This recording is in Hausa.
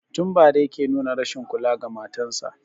Tun bara yake nuna rashin kula ga matan sa